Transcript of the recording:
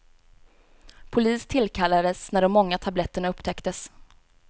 Polis tillkallades när de många tabletterna upptäcktes.